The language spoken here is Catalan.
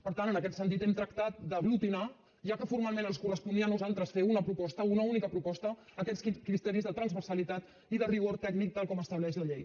per tant en aquest sentit hem tractat d’aglutinar ja que formalment ens corresponia a nosaltres fer una proposta una única proposta aquests criteris de transversalitat i de rigor tècnic tal com estableix la llei